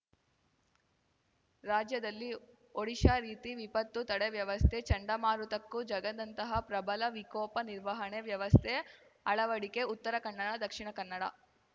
ರಾಜ್ಯದಲ್ಲಿ ಒಡಿಶಾ ರೀತಿ ವಿಪತ್ತು ತಡೆ ವ್ಯವಸ್ಥೆ ಚಂಡಮಾರುತಕ್ಕೂ ಜಗ್ಗದಂತಹ ಪ್ರಬಲ ವಿಕೋಪ ನಿರ್ವಹಣೆ ವ್ಯವಸ್ಥೆ ಅಳವಡಿಕೆ ಉತ್ತರ ಕನ್ನಡ ದಕ್ಷಿಣ ಕನ್ನಡ